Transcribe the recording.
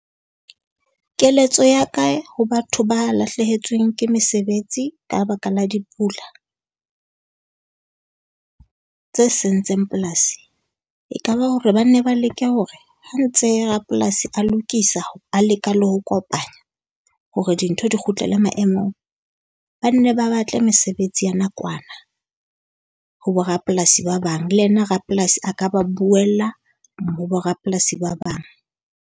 Keletso ya ka ho batho ba lahlehetsweng ke mesebetsi ka baka la dipula, tse sentseng polasi. E ka ba hore ba nne ba leke hore ha ntse rapolasi a lokisa, a leka le ho kopanya hore dintho di kgutlele maemong, ba nne ba batle mesebetsi ya nakwana ho bo rapolasi ba bang. Le yena rapolasi a ka ba buemla mo bo rapolasi ba bang.